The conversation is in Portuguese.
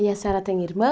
E a senhora tem irmãos?